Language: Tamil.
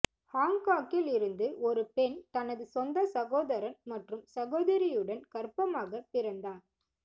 ஹாங்காங்கில் இருந்து ஒரு பெண் தனது சொந்த சகோதரன் மற்றும் சகோதரியுடன் கர்ப்பமாகப் பிறந்தார்